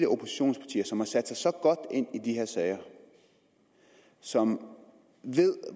oppositionspartier som har sat sig så godt ind i de her sager som ved